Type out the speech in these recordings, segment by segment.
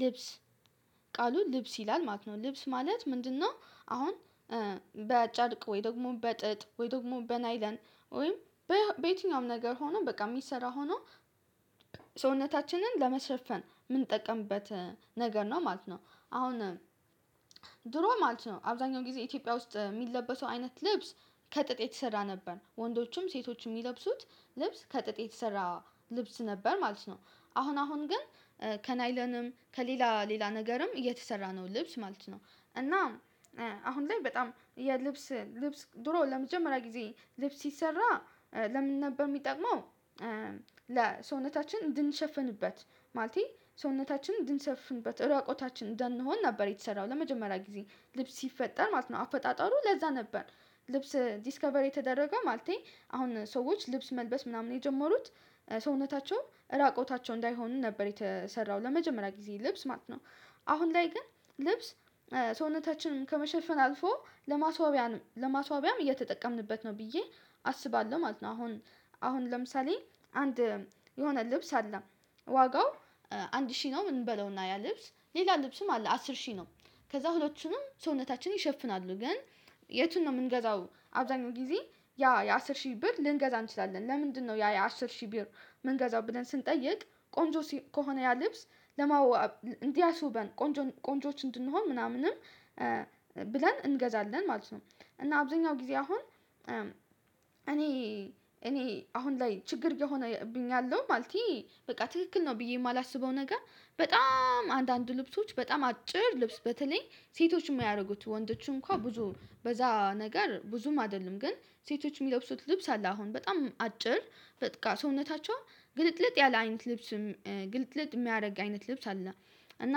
ልብስ ቃሉ ልብስ ይላል ማለት ነው ልብስ ማለት ምንድነው? አሁን በአጨርቅ ወይ ደግሞ በጥጥ ወይ ደግሞ በናይለን ወይም በየትኛውም ነገር ሆኖ በቃ የሚሰራ ሆኖ ሰውነታችንን ለመሸፈን የምንጠቀምበት ነገር ነው ማለት ነው። አሁን ድሮ ማለት ነው አብዛኛው ጊዜ ኢትዮጵያ ውስጥ የሚለበሰው አይነት ልብስ ከጥጥ የተሰራ ነበር ወንዶቹም ደሴቶቹም የሚለብሱት ልብስ ከጥጥ የተሰራ ልብስ ነበር ማለት ነው። አሁን አሁን ግን ከናይለንም ከሌላ ሌላ ነገርም እየተሰራ ነው ልብስ ማለት ነው እና። አሁን ላይ በጣም የልብስ ልብስ ድሮ ለመጀመሪያ ጊዜ ልብስ ሲሰራ ለምን ነበር የሚጠቅመው? ለሰውነታችን እንድንሸፍንበት ማለቴ ሰውነታችን እንድንሸፍንበት ራቁታችን እንዳንሆን ነበር የተሰራው ለመጀመሪያ ጊዜ ልብስ ሲፈጠር ማለት ነው አፈጣጠሩ ለዛ ነበር። ልብስ ዲስከቨር የተደረገው ማለቴ አሁን ሰዎች ልብስ መልበስ ምናምን የጀመሩት ሰውነታቸው ራቆታቸው እንዳይሆኑ ነበር የተሰራው ለመጀመሪያ ጊዜ ልብስ ማለት ነው። አሁን ላይ ግን ልብስ ሰውነታችንን ከመሸፈን አልፎ ለማስዋቢያም እየተጠቀምንበት ነው ብዬ አስባለሁ ማለት ነው። አሁን አሁን ለምሳሌ አንድ የሆነ ልብስ አለ። ዋጋው አንድ ሺህ ነው እንበለውና ያ ልብስ ሌላ ልብስም አለ አስር ሺህ ነው። ከዛ ሁሉንም ሰውነታችን ይሸፍናሉ ግን የቱን ነው የምንገዛው አብዛኛው ጊዜ ያ የአስር ሺህ ብር ልንገዛ እንችላለን ለምንድነው ያ የአስር ሺህ ብር መንገዛው ብለን ስንጠይቅ ቆንጆ ከሆነ ያ ልብስ። እንዲያስውበን ቆንጆ ቆንጆዎች እንድንሆን ምናምንም ብለን እንገዛለን ማለት ነው። እና አብዛኛው ጊዜ አሁን እኔ እኔ አሁን ላይ ችግር እየሆነብኝ ያለው ማለቴ በቃ ትክክል ነው ብዬ የማላስበውን ነገር። በጣም አንዳንድ ልብሶች በጣም አጭር ልብስ በተለይ ሴቶችን የማያደርጉት ወንዶችን እንኳን ብዙ በዛ ነገር ብዙም አይደለም። ግን ሴቶች የሚለብሱት ልብስ አለ አሁን በጣም አጭር በቃ ሰውነታቸው ግልጥልጥ ያለ አይነት ልብስም ግልጥልጥ የሚያደርግ አይነት ልብስ አለ። እና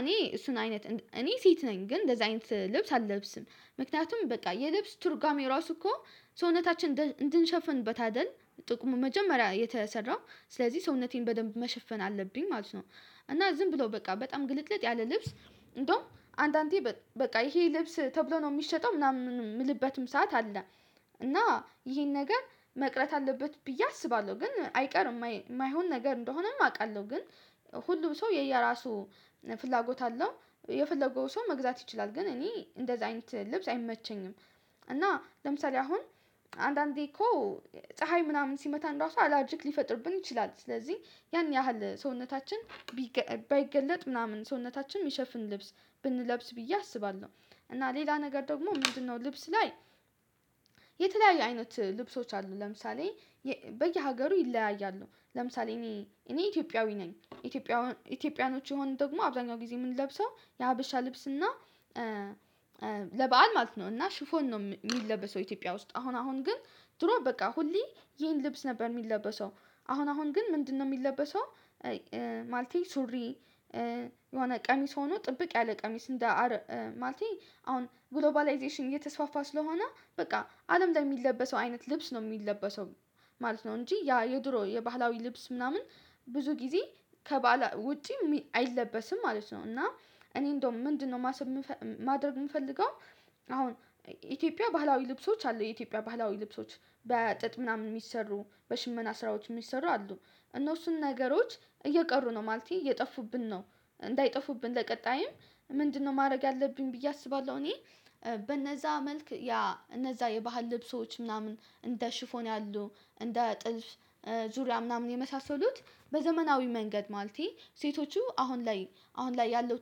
እኔ እሱን አይነት እኔ ሴት ነኝ ግን እንደዛ አይነት ልብስ አለብስም። ምክንያቱም በቃ የልብስ ትርጓሜ ራሱ እኮ ሰውነታችን እንድንሸፍንበት አይደል? ጥቁም መጀመሪያ የተሰራው ስለዚህ ሰውነቴን በደንብ መሸፈን አለብኝ ማለት ነው። እና ዝም ብለው በቃ በጣም ግልጥልጥ ያለ ልብስ እንደውም አንዳንዴ በቃ ይሄ ልብስ ተብሎ ነው የሚሸጠው ምናምን የምንልበትም ሰዓት አለ። እና ይሄን ነገር መቅረት አለበት ብዬ አስባለሁ። ግን አይቀርም የማይሆን ነገር እንደሆነም አውቃለሁ ግን። ሁሉም ሰው የየራሱ ፍላጎት አለው። የፈለገው ሰው መግዛት ይችላል ግን እኔ እንደዛ አይነት ልብስ አይመቸኝም። እና ለምሳሌ አሁን አንዳንዴ እኮ ፀሀይ ምናምን ሲመታን ራሱ አላርጀክ ሊፈጥርብን ይችላል ስለዚህ ያን ያህል ሰውነታችን ባይገለጥ ምናምን ሰውነታችን የሚሸፍን ልብስ ብንለብስ ብዬ አስባለሁ። እና ሌላ ነገር ደግሞ ምንድነው? ልብስ ላይ የተለያዩ አይነት ልብሶች አሉ ለምሳሌ በየሀገሩ ይለያያሉ። ለምሳሌ እኔ እኔ ኢትዮጵያዊ ነኝ። ኢትዮጵያውያኖች የሆኑ ደግሞ አብዛኛው ጊዜ የምንለብሰው የሀበሻ ልብስ እና። ለበአል ማለት ነው እና ሽፎን ነው የሚለበሰው ኢትዮጵያ ውስጥ አሁን አሁን ግን ድሮ በቃ ሁሌ ይሄን ልብስ ነበር የሚለበሰው። አሁን አሁን ግን ምንድነው የሚለበሰው? ማለቴ ሱሪ የሆነ ቀሚስ ሆኖ ጥብቅ ያለ ቀሚስ እንደ ማለቴ አሁን ግሎባላይዜሽን እየተስፋፋ ስለሆነ በቃ አለም ላይ የሚለበሰው አይነት ልብስ ነው የሚለበሰው። ማለት ነው እንጂ ያ የድሮ የባህላዊ ልብስ ምናምን ብዙ ጊዜ ከባህል ውጪ አይለበስም ማለት ነው። እና እኔ እንደው ምንድነው ማሰብ ማድረግ የምፈልገው። አሁን ኢትዮጵያ ባህላዊ ልብሶች አሉ የኢትዮጵያ ባህላዊ ልብሶች በጥጥ ምናምን የሚሰሩ በሽመና ስራዎች የሚሰሩ አሉ። እነሱን ነገሮች እየቀሩ ነው ማለቴ እየጠፉብን ነው። እንዳይጠፉብን ለቀጣይም ምንድነው ማድረግ ያለብኝ ብዬ አስባለሁ እኔ በነዛ መልክ ያ እነዛ የባህል ልብሶች ምናምን እንደ ሽፎን ያሉ እንደ ጥልፍ ዙሪያ ምናምን የመሳሰሉት። በዘመናዊ መንገድ ማለቴ ሴቶቹ አሁን ላይ አሁን ላይ ያለው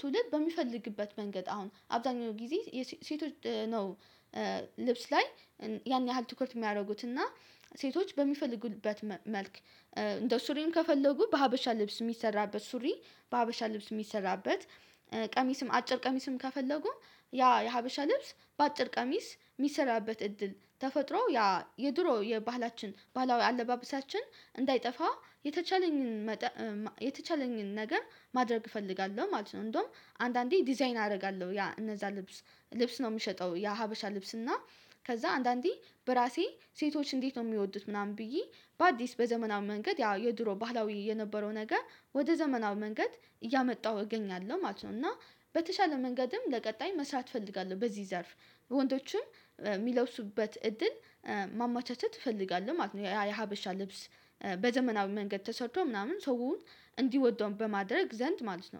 ትውልድ በሚፈልግበት መንገድ አሁን አብዛኛው ጊዜ ሴቶች ነው። ልብስ ላይ ያን ያህል ትኩረት የሚያደርጉት እና ሴቶች በሚፈልጉበት መልክ። እንደ ሱሪም ከፈለጉ በሀበሻ ልብስ የሚሰራበት ሱሪ በሀበሻ ልብስ የሚሰራበት ቀሚስም አጭር ቀሚስም ከፈለጉ ያ የሀበሻ ልብስ በአጭር ቀሚስ የሚሰራበት እድል ተፈጥሮ ያ የድሮ የባህላችን ባህላዊ አለባበሳችን እንዳይጠፋ የተቻለኝን። የተቻለኝን ነገር ማድረግ እፈልጋለሁ ማለት ነው። እንደውም አንዳንዴ ዲዛይን አደርጋለሁ ያ እነዛ ልብስ ልብስ ነው የሚሸጠው ያሀበሻ ልብስ እና። ከዛ አንዳንዴ በራሴ ሴቶች እንዴት ነው የሚወዱት ምናምን ብዬ በአዲስ በዘመናዊ መንገድ ያ የድሮ ባህላዊ የነበረው ነገር ወደ ዘመናዊ መንገድ እያመጣሁ እገኛለሁ ማለት ነው። እና በተሻለ መንገድም ለቀጣይ መስራት እፈልጋለሁ በዚህ ዘርፍ። ወንዶችም የሚለብሱበት እድል ማመቻቸት እፈልጋለሁ ማለት ነው። ያ የሀበሻ ልብስ በዘመናዊ መንገድ ተሰርቶ ምናምን ሰው እንዲወደውም በማድረግ ዘንድ ማለት ነው።